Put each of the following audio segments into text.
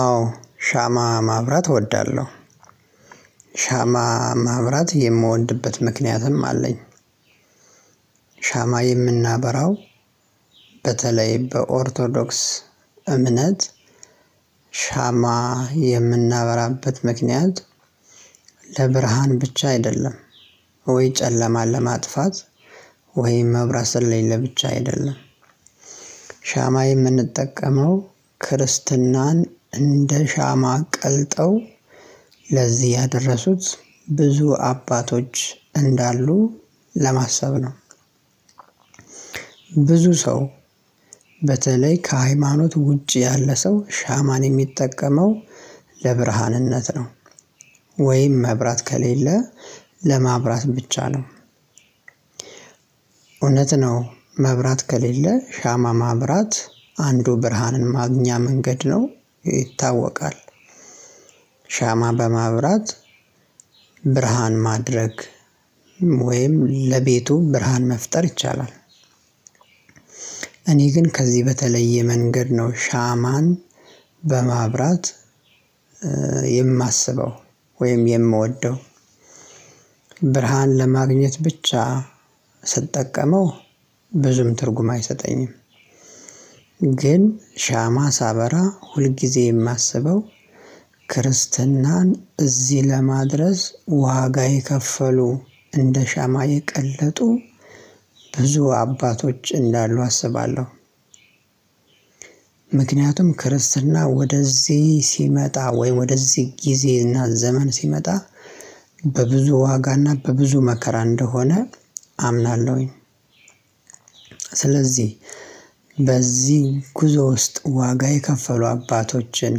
አዎ ሻማ ማብራት እወዳለሁ። ሻማ ማብራት የምወድበት ምክንያትም አለኝ። ሻማ የምናበራው በተለይ በኦርቶዶክስ እምነት ሻማ የምናበራበት ምክንያት ለብርሃን ብቻ አይደለም ወይ ጨለማን ለማጥፋት ወይም መብራት ስለሌለ ብቻ አይደለም። ሻማ የምንጠቀመው ክርስትናን እንደ ሻማ ቀልጠው ለዚህ ያደረሱት ብዙ አባቶች እንዳሉ ለማሰብ ነው። ብዙ ሰው በተለይ ከሃይማኖት ውጪ ያለ ሰው ሻማን የሚጠቀመው ለብርሃንነት ነው። ወይም መብራት ከሌለ ለማብራት ብቻ ነው። እውነት ነው መብራት ከሌለ ሻማ ማብራት አንዱ ብርሃንን ማግኛ መንገድ ነው ይታወቃል። ሻማ በማብራት ብርሃን ማድረግ ወይም ለቤቱ ብርሃን መፍጠር ይቻላል። እኔ ግን ከዚህ በተለየ መንገድ ነው ሻማን በማብራት የማስበው ወይም የምወደው። ብርሃን ለማግኘት ብቻ ስጠቀመው ብዙም ትርጉም አይሰጠኝም። ግን ሻማ ሳበራ ሁልጊዜ የማስበው ክርስትናን እዚህ ለማድረስ ዋጋ የከፈሉ እንደ ሻማ የቀለጡ ብዙ አባቶች እንዳሉ አስባለሁ። ምክንያቱም ክርስትና ወደዚህ ሲመጣ ወይ ወደዚህ ጊዜና ዘመን ሲመጣ በብዙ ዋጋና በብዙ መከራ እንደሆነ አምናለሁኝ። ስለዚህ በዚህ ጉዞ ውስጥ ዋጋ የከፈሉ አባቶችን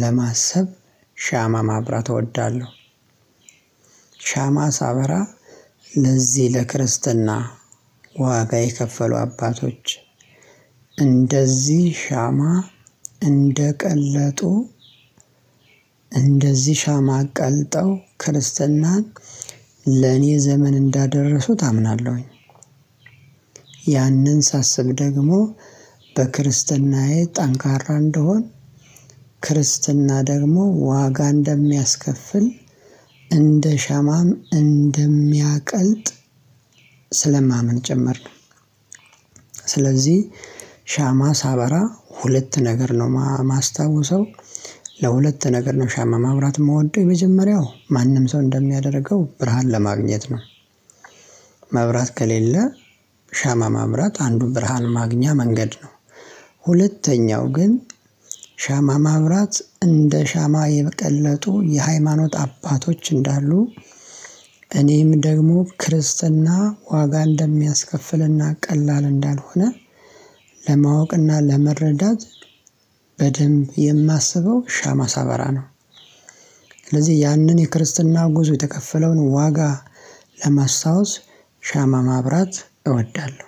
ለማሰብ ሻማ ማብራት እወዳለሁ። ሻማ ሳበራ እንደዚህ ለክርስትና ዋጋ የከፈሉ አባቶች እንደዚህ ሻማ እንደቀለጡ እንደዚህ ሻማ ቀልጠው ክርስትናን ለኔ ዘመን እንዳደረሱት አምናለሁ። ሳስብ ደግሞ በክርስትናዬ ጠንካራ እንድሆን ክርስትና ደግሞ ዋጋ እንደሚያስከፍል እንደ ሻማም እንደሚያቀልጥ ስለማምን ጭምር ነው። ስለዚህ ሻማ ሳበራ ሁለት ነገር ነው የማስታውሰው። ለሁለት ነገር ነው ሻማ ማብራት የምወደው። የመጀመሪያው ማንም ሰው እንደሚያደርገው ብርሃን ለማግኘት ነው። መብራት ከሌለ ሻማ ማብራት አንዱ ብርሃን ማግኛ መንገድ ነው። ሁለተኛው ግን ሻማ ማብራት እንደ ሻማ የቀለጡ የሃይማኖት አባቶች እንዳሉ እኔም ደግሞ ክርስትና ዋጋ እንደሚያስከፍልና ቀላል እንዳልሆነ ለማወቅና ለመረዳት በደንብ የማስበው ሻማ ሳበራ ነው። ስለዚህ ያንን የክርስትና ጉዞ የተከፈለውን ዋጋ ለማስታወስ ሻማ ማብራት እወዳለሁ።